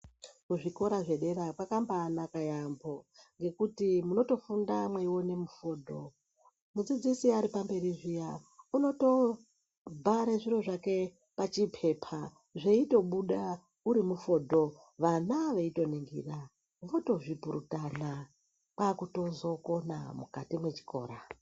Kuzvikora zvedera kwakabanaka yambo ngekuti munotofunda mweione mifundo mudzidzisi aripamberi zviya unotobhare zviro zvake pachipepa zveitobuda UTI mifodho vana veitoningira votozvipurutana kwakutozokona mukati mwechikora.